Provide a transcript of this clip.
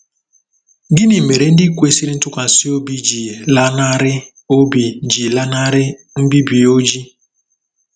Gịnị mere ndị kwesịrị ntụkwasị obi ji lanarị obi ji lanarị mbibi Oji?